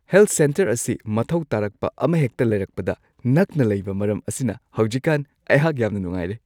Health centre ꯑꯁꯤ ꯃꯊꯧ ꯇꯥꯔꯛꯄ ꯑꯃꯍꯦꯛꯇ ꯂꯩꯔꯛꯄꯗ ꯅꯛꯅ ꯂꯩꯕ ꯃꯔꯝ ꯑꯁꯤꯅ ꯍꯧꯖꯤꯛꯀꯥꯟ ꯑꯩꯍꯥꯛ ꯌꯥꯝꯅ ꯅꯨꯡꯉꯥꯏꯔꯦ ꯫